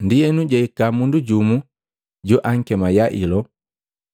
Ndienu jahika mundu jumu joakema Yailo,